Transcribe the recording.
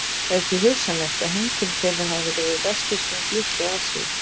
Það er því hugsanlegt að heimkynni þeirra hafi verið við vesturströnd Litlu-Asíu.